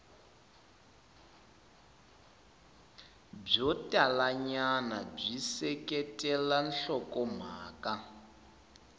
byo talanyana byi seketela nhlokomhaka